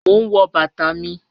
Mò n wọ̀ bàtà mi.